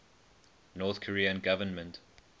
north korean government